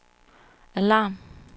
alarm